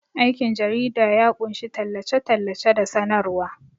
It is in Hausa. Aikin jarida ya ƙunshi tallace-tallace da sanarwa.